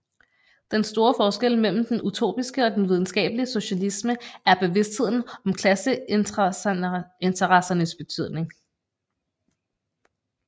Den store forskel mellem den utopiske og den videnskabelige socialisme er bevidstheden om klasseinteressernes betydning